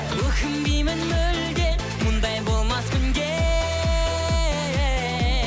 өкінбеймін мүлде мұндай болмас күнде